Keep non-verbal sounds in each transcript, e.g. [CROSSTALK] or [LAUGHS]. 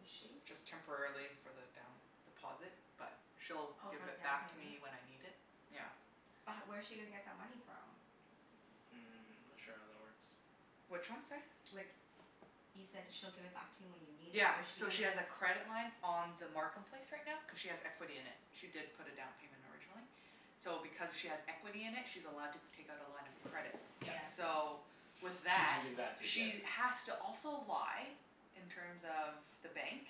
is she? Just temporarily for the down deposit, but she'll Oh, give for it the down back to payment? me when I need it. Yeah. But h- where's she gonna get that money from? Mm, I'm not sure how that works. Which one, sorry? Like, you said she'll give it back to you when you need it. Yeah. Where's she So gonna she has a credit line on the Markham place right now cuz she has equity in it. She did put a down payment originally. So because she has equity in it she's allowed to take out a line of credit. Yes. Yeah. So, with She's that using that to get she a has to also lie in terms of the bank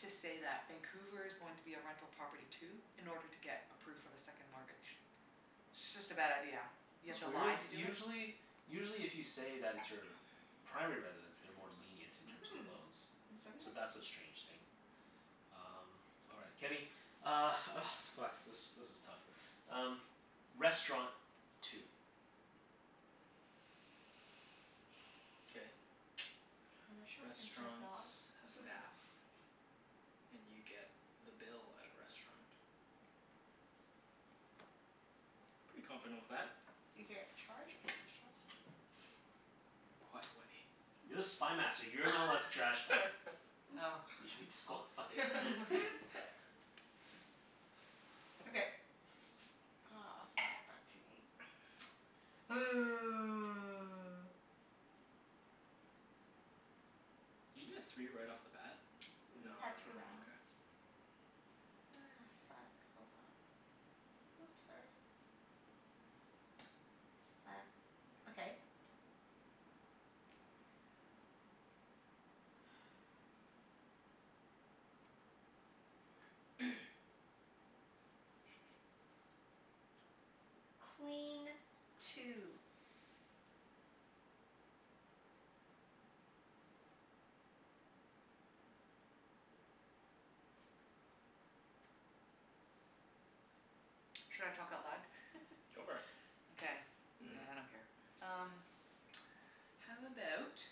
to say that Vancouver's going to be a rental property too. In order to get approved for the second mortgage. It's just a bad idea. You have That's to weird. lie to do it? Usually usually if you say that it's your [NOISE] primary residence they're more lenient in terms of Mhm. loans. So [INAUDIBLE] that's a strange thing. Um, all right. Kenny Uh, oh fuck, this this is tough. Um, restaurant. Two. K. [NOISE] A restaurant can serve Restaurants dog. have staff. [LAUGHS] And you get the bill at a restaurant. Pretty confident with that. You get charged [INAUDIBLE] Quiet, Wenny. You're the Spy Master. You're not allowed to trash talk. [LAUGHS] Oh. You should be disqualified. [LAUGHS] [LAUGHS] [LAUGHS] [LAUGHS] Okay. Oh, fuck. Back to me. [NOISE] [NOISE] Did you get three right off the bat? No no We've had two no, rounds. okay. Ah, fuck. Hold on. Whoops, sorry. [NOISE] Back, okay. [NOISE] [LAUGHS] Clean. Two. Should I talk out loud? Go [LAUGHS] for it. Okay. Yeah, I don't care. Um [NOISE] [NOISE] How about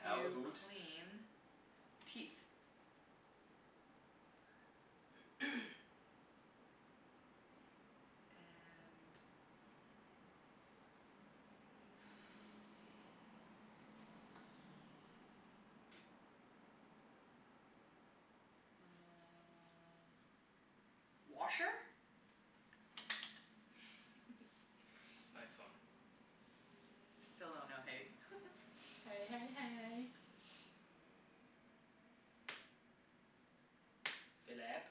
How you aboot clean teeth? [NOISE] And [NOISE] uh washer? [LAUGHS] Yes. Nice one. Still don't know hay. [LAUGHS] Hey hey hey. [NOISE] Phillip.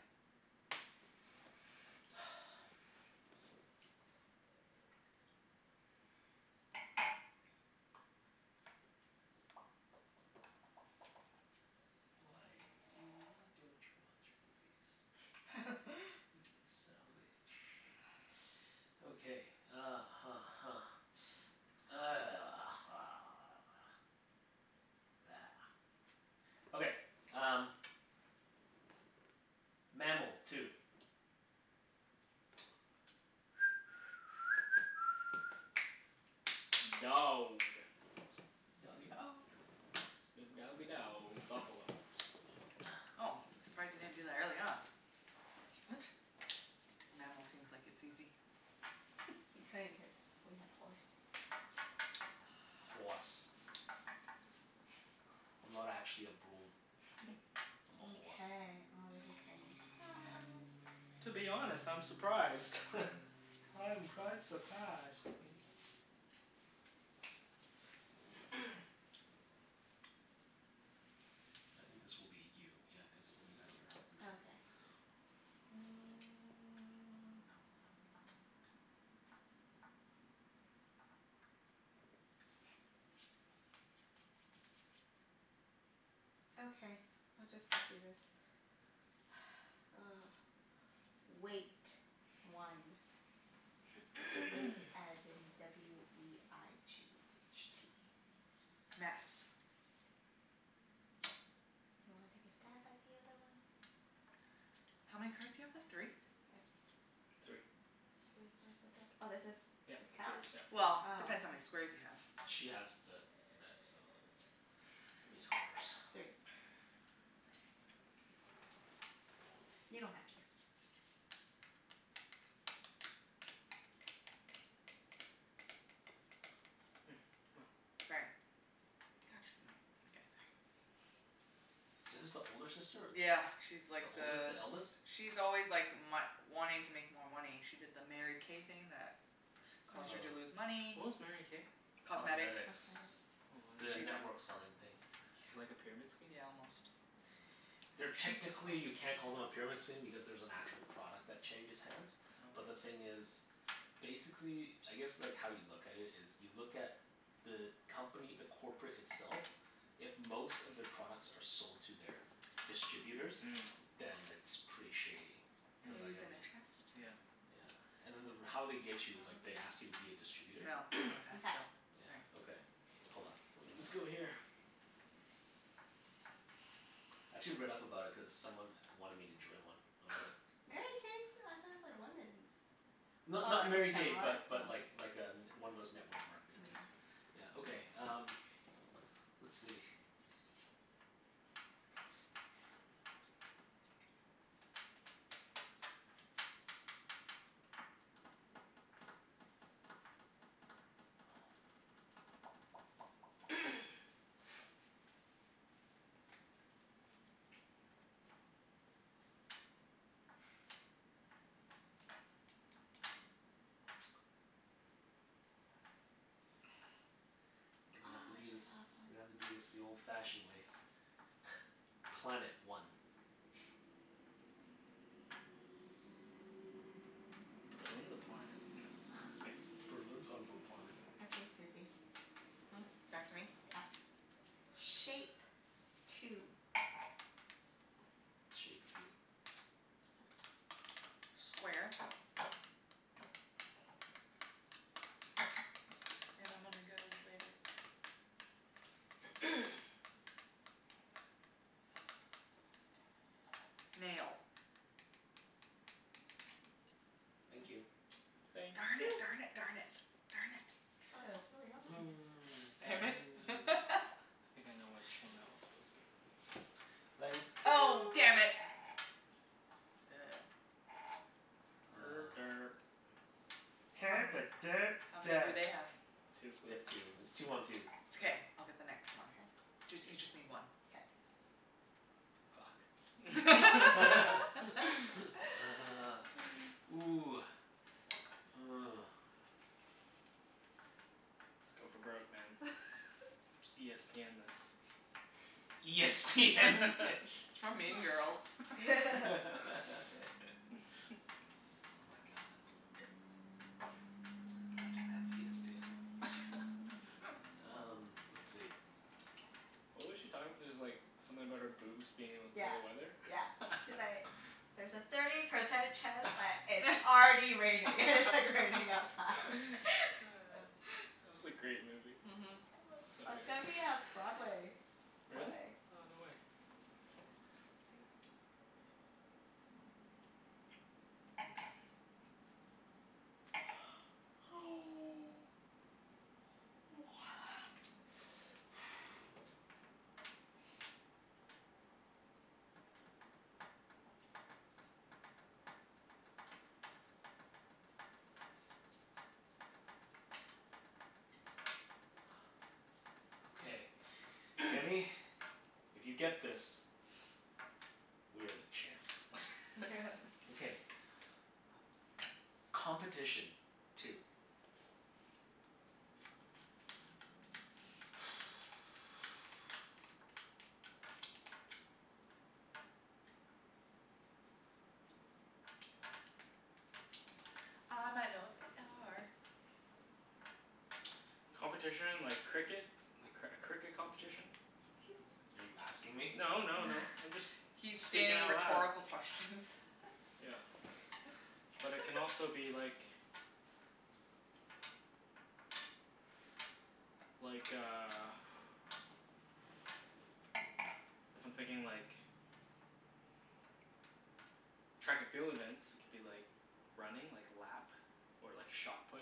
[NOISE] [NOISE] Why don't you watch movies? [LAUGHS] You son of a bitch. Okay, uh huh huh. [NOISE] [NOISE] [NOISE] Okay, um Mammal. Two. [NOISE] Dog. Doggie dog. Snoop doggie dow Buffalo. Oh, surprised you didn't do that earlier on. What? The mammal seems like it's easy. He [LAUGHS] couldn't cuz we had horse. Hoarse. I'm not actually a broom. [LAUGHS] I'm a horse. Mkay. Oh, this is getting hard. To be honest, I'm surprised. [LAUGHS] [LAUGHS] I'm quite surprised. [LAUGHS] [NOISE] I think this will be you. Yeah, cuz you guys are red. Okay. Mm. [NOISE] Okay, we'll just do this. [NOISE] Weight. One. Weight [NOISE] as in w e i g h t. Mess. Do you wanna take a stab at the other one? How many cards you have left? Three? [NOISE] Three. Three? Where's the third? Oh, this is, Yep. this It's counts? yours. Yep. Oh. Well, depends how many squares you have. She has the red so it's [NOISE] it's horse. [NOISE] Three. [NOISE] You don't have to. Hmm. Come on. Sorry. God, she's annoying. Okay, sorry. [NOISE] [NOISE] Is this the older sister or the Yeah, she's like The oldest? the The eldest? s- she's always like my- wanting to make more money. She did the Mary K thing that Oh, caused her to Oh. lose Oh. money. what was Mary K? Cosmetics. Cosmetics. Cosmetics. Oh, The She network selling thing. [INAUDIBLE] like a pyramid scheme? Yeah, almost. They're, technically you [INAUDIBLE] can't call them a pyramid scheme because there's an actual product that changes hands. But the Oh. thing is basically, I guess like how you look at it is you look at the company, the corporate itself if most of their products are sold to their distributors Mm. then it's pretty shady. [INAUDIBLE] Cuz like Mm, I in a mean chest. yeah. Yeah. And then the r- how they get you is like they ask you to be a distributor. No, I'm gonna [NOISE] pass Mkay. still. All right. Yeah. Okay. Hold on. Let me just go here. I actually read [NOISE] up about it cuz someone wanted me to join one. I was like [NOISE] Mary K's, I thought it's like women's? Oh, Not I not Mary guess K similar? but Oh. but like like a n- one of those network marketing Mm. things. Yeah, okay um let's see [NOISE] [NOISE] [NOISE] Oh, We're gonna have to I do this just thought of We're gonna one. have to do this the old fashioned way. [LAUGHS] Planet. One. [NOISE] Berlin's a planet. No. Space. [LAUGHS] Berlin's on a planet. Okay, Susie. Hmm? Back to me? Yep. Shape. [NOISE] Two. Shape of you. Square. And I'm gonna go with [NOISE] Nail. Thank you. Thank Darn it, you darn p- it, darn it. Darn it. Thought it was really obvious. [NOISE] Damn it. [NOISE] [LAUGHS] I think I know which one that was supposed to be. Oh No. [INAUDIBLE] damn it. [NOISE] Er Uh derp. How many, how many do they have? [NOISE] Two. We have two. It's two one two. It's okay. I'll get the next K. one. Jus- you just Yes. need one. K. Fuck. [LAUGHS] [LAUGHS] Ah, [LAUGHS] ooh. Oh. Let's go for broke, man. [LAUGHS] Just e s p end this. E s p end this. It's from Mean [LAUGHS] Girls. [LAUGHS] [LAUGHS] Oh my god. [INAUDIBLE] [LAUGHS] Um, let's see. What was she talking? It's like something about her boobs being able to Yeah, tell the weather? yeah. She's like [LAUGHS] "There's a thirty percent [LAUGHS] chance That that it's already raining." And it's like raining outside. [LAUGHS] [LAUGHS] was a great movie. Mhm. I So love, good. it's gonna be a Broadway Really? play. Oh, no way. [INAUDIBLE] [NOISE] [NOISE] Okay. [NOISE] [NOISE] Kenny, [NOISE] if you get this we are the champs. [LAUGHS] Okay. [LAUGHS] Competition. Two. [NOISE] I might know what they are. Competition like cricket? A cr- cricket competition? 'Scuse me. Are you asking me? No no no, I'm just [LAUGHS] He's speaking stating out loud. rhetorical questions. Yeah. But it can also be [LAUGHS] like like a [NOISE] if I'm thinking like track and field events, it could be like running, like lap. Or like shot put.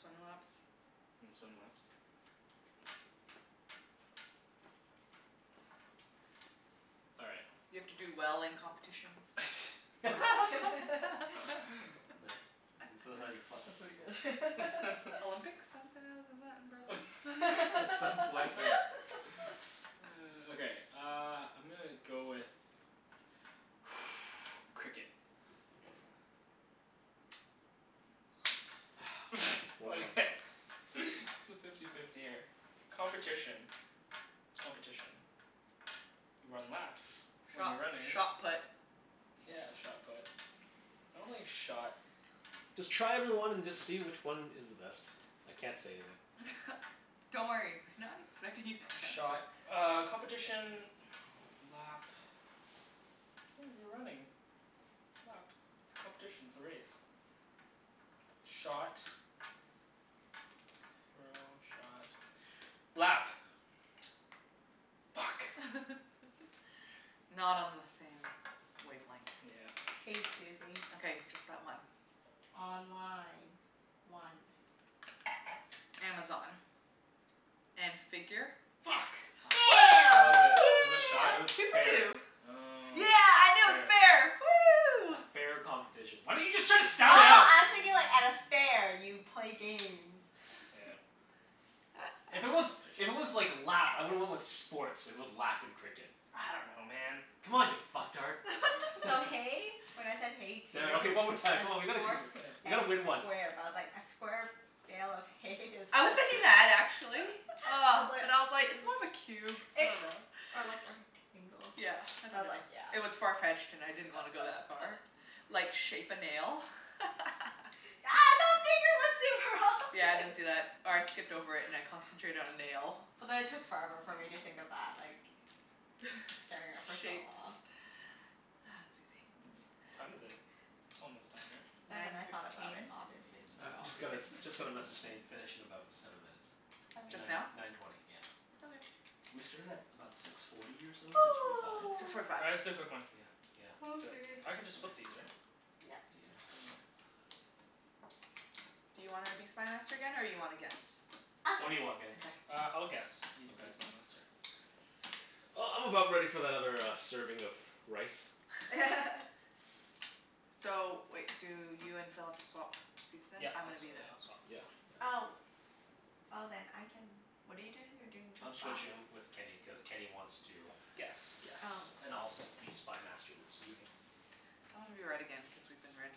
Swim laps. And swim laps. [NOISE] All right. You have to do well in competitions. [LAUGHS] [LAUGHS] [LAUGHS] Nah, that's how you [LAUGHS] fuck That's with pretty people. good. [LAUGHS] [NOISE] [LAUGHS] Olympics? Isn't that the, isn't that in [LAUGHS] Berlin? At some point we [LAUGHS] Okay, uh I'm gonna go with [NOISE] Cricket. [NOISE] [NOISE] One month Okay, [LAUGHS] it's fifty fifty here. Competition. Competition. You run laps when Shot you're running. shot put. Yeah, shot put. I don't think shot Just try every one and just see which one is the best. I can't say anything. [LAUGHS] Don't worry. We're not expecting you to answer. Shot uh competition lap oh, you're running lap. It's competition, it's a race. Shot throw, shot, lap. Fuck. [LAUGHS] Not on the same wavelength. Yeah. K, Susie. Okay. Just that one. Online. One. Amazon. And figure? Yes! Fu- Yeah. Killed it. Was it shot? It Woo! was Yeah. Two for fair. two. Oh. Yeah, I knew it was Fair. fair. A Woo! fair competition. Why didn't you just try to Oh, sound it out? I was thinking like at a fair you play games. Yeah. If it was, [LAUGHS] if it was Competition. like lap, I would've went with sports, if it was lap and cricket. I don't know, man. Come on you fucktard. So [LAUGHS] hay, [LAUGHS] [LAUGHS] when I said hay two Damn it. Okay, one more time. as Come on, we gotta keep horse on Okay. We and gotta win one. square. But I was like a square bale of hay is I was thinking [NOISE] [LAUGHS] that actually. I Ah. But I was was like, like "It's more of a cube. I It dunno." or like a rectangle. Yeah, I I was like, dunno. yeah. It was far-fetched and I didn't wanna go that far. [LAUGHS] Like, shape a nail? [LAUGHS] Yeah, I didn't [INAUDIBLE] see that. Or I skipped over it and I concentrated on nail. But then it took forever for me to think of that, like staring at it for [LAUGHS] so Shapes. long. [NOISE] Ah, Mm. Susie. What time is it? It's almost time, right? Then when Nine I thought about it, fifteen. obviously it's I more u- just got a obvious. [NOISE] [LAUGHS] just got a message saying finish in about seven minutes. Just now? Nine Okay. nine twenty, yeah. Okay. We started at about six forty or so? Six forty five? Six forty five. All right, let's do a quick [NOISE] one. Yeah yeah. 'Scuse Do me. it. I can just flip [NOISE] these, right? Yep. Yeah. [NOISE] [NOISE] Do you wanna be Spy Master again, or you wanna guess? I'll What do guess. you want, Kenny? Okay. Uh, I'll guess. You can be Spy Okay. Master. Uh, I'm about ready for that other uh serving of rice. [LAUGHS] [LAUGHS] So wait, do you and Phil have to swap seats then? Yep. I'm I'll gonna swa- be the yeah, I'll swap. Yeah yeah. Oh. Oh, then I can, what are you doing? You're doing I'm this side? switching um with Kenny, cuz Kenny wants to Guess. Oh. guess. And I'll s- be Spy Master with Susie. I wanna be red again cuz we've been red.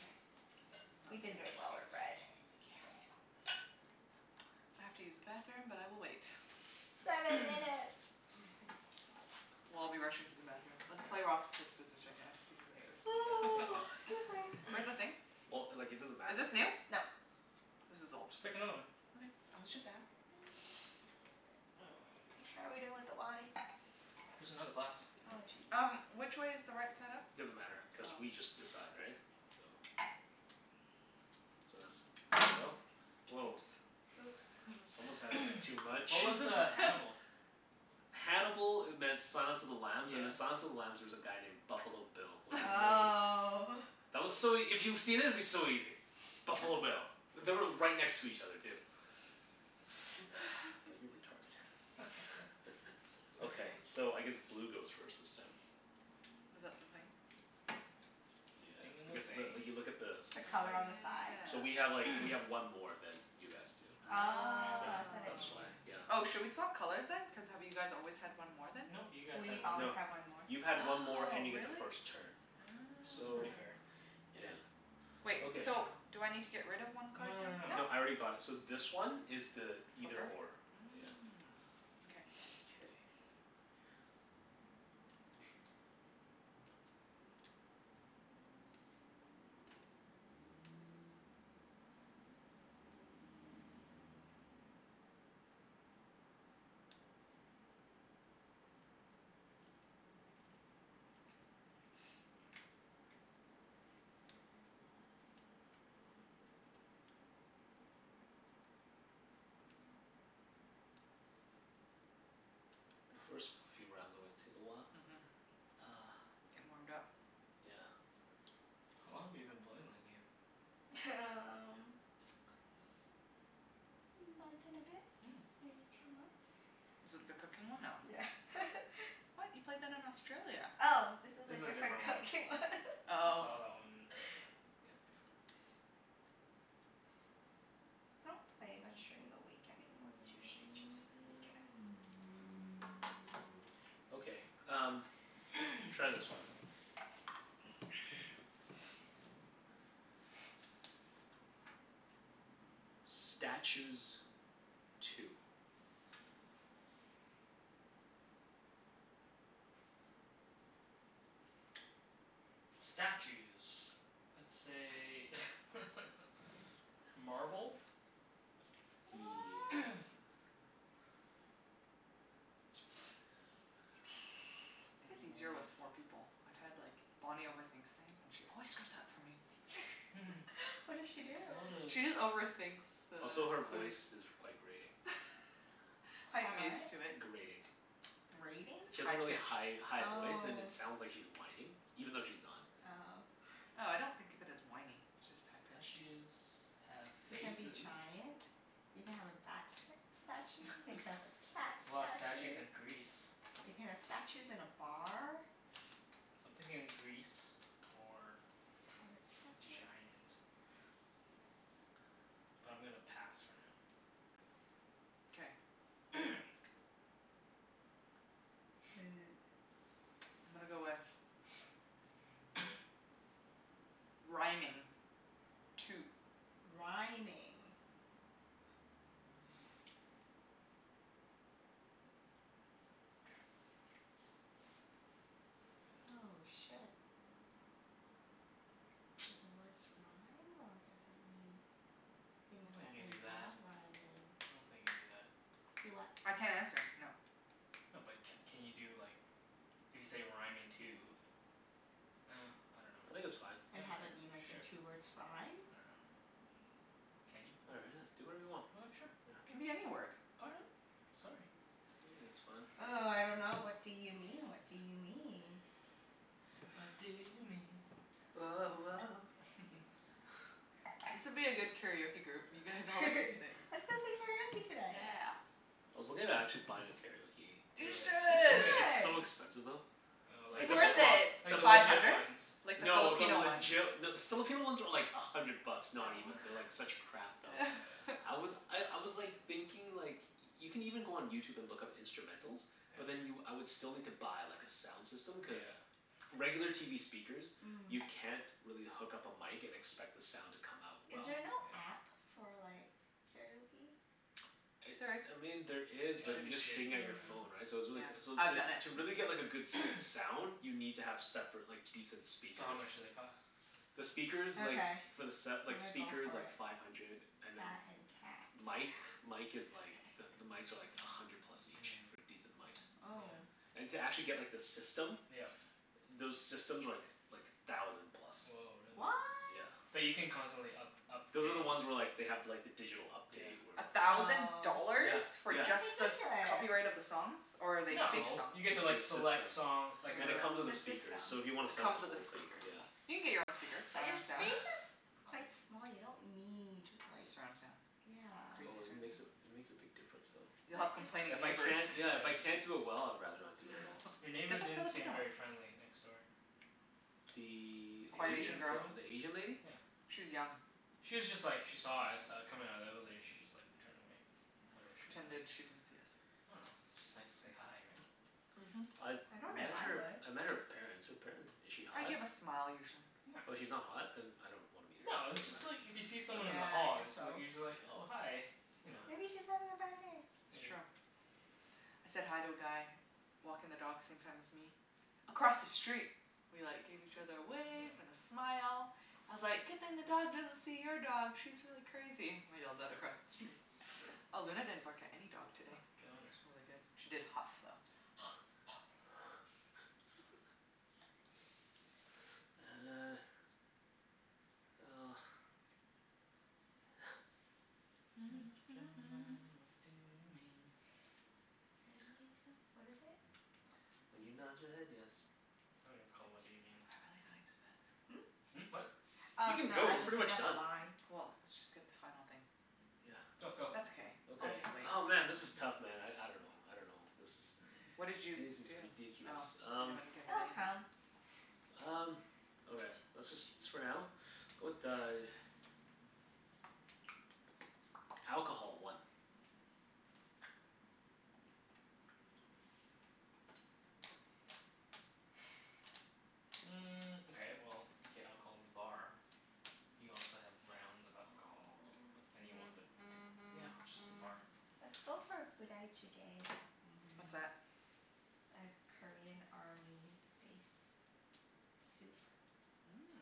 K. We've been doing well [INAUDIBLE] with red. Yeah. K. I have to use the bathroom, but I will wait. Seven [NOISE] minutes. [LAUGHS] We'll all be rushing to the bathroom. Let's play rock, Yeah. sc- paper, scissors right now to see who All goes first. right. You guys pick one. [NOISE] Excuse me. [LAUGHS] Where's the thing? Well, like it doesn't Is matter if this new? it's No. This is old. Just pick another one. Okay. I was just ask [NOISE] Mm, how are we doing with the wine? There's another glass. Oh, jeez. Um, which way is the right side up? Doesn't matter, cuz Oh. we just decide, right? So So that's, there you go. Woah. Oops. Whoops. [LAUGHS] Someone's had a bit too [NOISE] much. What was uh Hannibal? [LAUGHS] Hannibal e- meant Silence of the Lambs, and Yeah. in Silence of the Lambs there was a guy named Buffalo Bill. Was [LAUGHS] [INAUDIBLE] Oh. That was so ea- if you've seen it, it'd be so easy. Buffalo Bill. They were right next to each other, too. [NOISE] But you're retarded. [LAUGHS] Okay. [LAUGHS] So, I guess blue goes first this time. Is that the thing? The Yeah, thing in the because the, thing. you look at the The Oh color on sides. the side? So yeah. we have like, we [NOISE] have one more than you guys do. Oh, Yeah, that's what it that's why. means. Oh. Oh, Yeah. should we swap colors then? Cuz have you guys always had one more then? No. You guys had We've one always more. No. had one more. You've had one more Oh, and you get the really? first turn. So it's pretty So, fair. Oh. It yeah. is. Wait, Okay. so do I need to get rid of one No card no no no then? No. No, I no. already got it. So this one is the either or. [INAUDIBLE] Yeah. Mm. Okay. [NOISE] Mkay. [NOISE] [NOISE] The first few rounds always take a while. Mhm. Ah. Gettin' warmed up. Yeah. How long have you been playing that game? T- um month and a bit? Mm. Maybe two months. Is it the cooking one? No. Yeah. [LAUGHS] What? You played that in Australia. Oh, this is This a is a different different cooking one. one. [LAUGHS] I Oh. saw that one earlier. [NOISE] Yeah, before. I don't play much during the week anymore. It's usually just weekends. Okay, um [NOISE] Try this one. [NOISE] Statues. Two. Statues. Let's say [LAUGHS] Marble. What? [NOISE] [INAUDIBLE] [NOISE] [NOISE] It's easier with [INAUDIBLE] four people. I've had like, Bonnie overthinks things and she always screws up for me. [LAUGHS] [LAUGHS] What did she do? There's a lot She just of overthinks the Also, her clues. voice is quite grating. [LAUGHS] Quite I'm what? used to it. Grating. Grating? She has High a really pitched. high high voice and Oh. it sounds like she's whining. Even though she's not. Oh. Oh, I don't think of it as whiny, it's just high pitched. Statues have You can be faces. giant. You can have a bat st- statue. [LAUGHS] There's You can have a cat a lot of statues statue. in Greece. You can have statues in a bar. So I'm thinking Greece or Pirate statue. giant. But I'm gonna pass for now. K. Okay. [NOISE] [NOISE] I'm gonna go with [NOISE] Rhyming. Two. Rhyming. Oh, shit. Do the words rhyme, or does it mean I don't things think that you can do that. involve rhyming? I don't think you can do that. Do what? I can't answer. No. No but c- can you do like, if you say rhyming two Ah, I dunno. I think Well, it's fine. And have it mean, like, the k, two sure. words rhyme? I dunno. Can you? All I [INAUDIBLE] do whatever you want. right. Sure. Yeah. It can be any word. All right. Sorry. I think it's fine. Oh, I dunno. What do you mean? What do you mean? What do you mean? Woah woah. [LAUGHS] [NOISE] This would be a good karaoke group. You guys [LAUGHS] all like to sing. Let's go sing karaoke tonight. Yeah. I was looking at actually buying a karaoke Do You machine. it. You Do should. it. Yeah. It's should! so expensive though. Oh, like It's Like Is the the le- worth it? it. like pro- the the Five legit hundred? ones. Like the No, the Filipino ones. legit No, the Filipino ones are like a hundred bucks. Not even. They're like such crap Oh, though. Oh. yeah. I [LAUGHS] was I I was like thinking like Y- you can even go on YouTube and look up instrumentals. But then you, Yeah. I would still need to buy like a sound system, cuz Yeah. regular TV speakers you Mm. can't really hook up a mic and expect the sound to come out Is well. there Mhm. Yeah. no app for like karaoke? [NOISE] It, There is. I mean, there Yeah, is but you it's Shitty. just shitty sing at your though, phone, Mm. yeah. right? So it's Yeah. really c- so I've to done it. to really get like a good s- [NOISE] sound You need to have separate like decent So how speakers. much do they cost? The speakers like Okay. for the set, I'm like gonna go speakers, for like it. five hundred. And then That and cat. mic mic Okay. is like the the mics are like a hundred plus Mm, each. yeah. For decent mics. Oh. And to actually get like the system Yeah. Those systems are like like a thousand plus. Woah, really? What? Yeah. But you can constantly up- upgrade Those are the ones where like they have like the digital update Yeah. where A thousand Oh. Yeah. dollars? For Yeah. just the s- That's ridiculous. copyright of the songs? Or are they To fake No. just songs? You get make sure to like the system select song, like a Cuz Ah, it it comes comes with The a system. speaker, so if you wanna set the with the whole thing, speakers. yeah. You can get your own speakers. But your Surround sound. Yeah. space is quite small. You don't need like Surround sound. Crazy Oh Yeah. it surround makes a, sound. it makes a big difference though. You'll have complaining But it's If I neighbors. can't, yeah, if I Yeah. can't do it well I'd rather not do it at all. Your [LAUGHS] neighbor Get the didn't seem Filipino one. very friendly, next door. The The Quiet A- Asian Asian girl. girl. the Asian lady? Yeah. She's young. She was just like, she saw us uh coming outta the evelator. She just like turned away. Oh, Whatever she pretended she [INAUDIBLE] didn't see us. I dunno. It's just nice to say hi, right? Mhm. I've I don't know if met I her, would. I met her parents. Her paren- is she I hot? give a smile usually. No. Oh, she's not hot? Then I don't wanna meet No, her. it's Doesn't just like matter. if you see someone in the Okay. Yeah, I hall guess it's like so. you're just like, "Oh, hi." Okay. You know? Yeah. Maybe she's having a bad day. It's Maybe. true. I said hi to a guy walking the dogs same time as me across the street. We like gave each other a wave and Yeah. a smile. I was like, "Good thing the dog doesn't see your dog. She's really crazy." I yelled that across the street. [LAUGHS] Oh, Luna didn't [LAUGHS] bark at any dog Oh, today. good on her. It's really good. She did huff, though. [NOISE] Uh. Well. What do you mean? [NOISE] Make up your [NOISE] mind. What do you mean? When you tell, what is it? When you nod your Oh, [INAUDIBLE] head yes. I think it's called, "What Do You Mean?" I've really gotta use the Hmm? bathroom. Hmm, what? Oh, You can no, go. I We're was just pretty thinking much of the done. line. Well, let's just get the final thing. Yeah. Go, That's go. okay. I'll Okay. just wait. Oh, man, this is tough man. I I dunno. I dunno. This is What This did you is do? Oh, ridiculous. you Um haven't given It'll anything? come. Um, okay. Let's just s- for now? Go with uh [NOISE] Alcohol. One. [NOISE] Mm, okay, well you get alcohol in the bar. You also have rounds of Oh. alcohol. And you want them t- yeah, just the bar. Let's go for Budae Jjigae. What's Mmm. that? A Korean army base soup. Mmm.